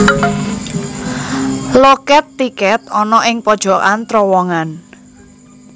Lokèt tikèt ana ing pojokan trowongan